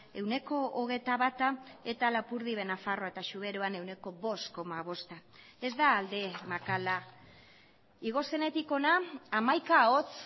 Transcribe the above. ehuneko hogeita bata eta lapurdi behe nafarroa eta zuberoan ehuneko bost koma bosta ez da alde makala igo zenetik hona hamaika hots